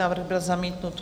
Návrh byl zamítnut.